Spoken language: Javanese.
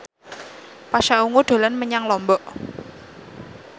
Pasha Ungu dolan menyang Lombok